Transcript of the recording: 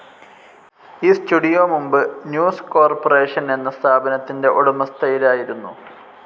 ഈ സ്റ്റുഡിയോ മുമ്പ് News Corporation എന്ന സ്ഥാപനത്തിന്റെ ഉടമസ്ഥയിലായിരുന്നു.